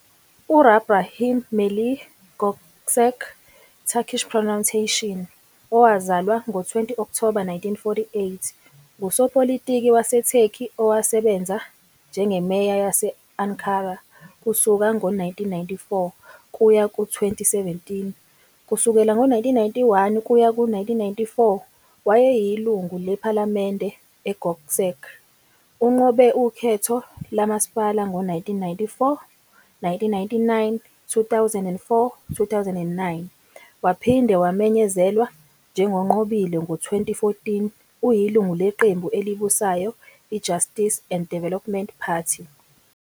U-rahbrahim Melih Gökçek, Turkish pronunciation- , owazalwa ngo-20 Okthoba 1948, ngusopolitiki waseTurkey owasebenza njengeMeya yase- Ankara kusuka ngo-1994 kuya ku-2017. Kusukela ngo-1991 kuya ku-1994, wayeyilungu lePhalamende. IGökçek unqobe ukhetho lomasipala ngo- 1994, 1999, 2004, 2009, waphinde wamenyezelwa njengonqobile ngo- 2014. Uyilungu leqembu elibusayo iJustice and Development Party.